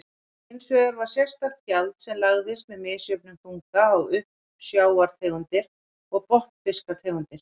Hins vegar var sérstakt gjald sem lagðist með misjöfnum þunga á uppsjávartegundir og botnfisktegundir.